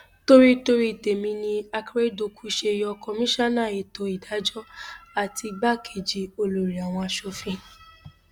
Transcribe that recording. torí torí tèmi ni àkẹrẹdọkù ṣe yọ kọmíṣánná ètò ìdájọ àti igbákejì olórí àwọn asòfin